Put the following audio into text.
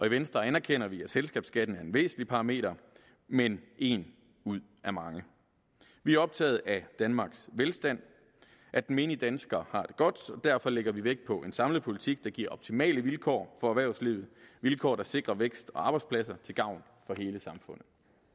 i venstre anerkender vi at selskabsskatten er en væsentlig parameter men en ud af mange vi er optaget af danmarks velstand at den menige dansker har det godt og derfor lægger vi vægt på en samlet politik der giver optimale vilkår for erhvervslivet vilkår der sikrer vækst og arbejdspladser til gavn for hele samfundet